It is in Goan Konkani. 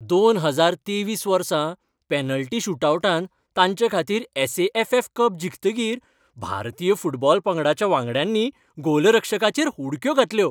दोन हजार तेवीस वर्सा पॅनल्टी शूटआवटांत तांचेखातीर S. A. F. F. Cup जिखतकीर भारतीय फुटबॉल पंगडाच्या वांगड्यांनी गोलरक्षकाचेर उडक्यो घातल्यो.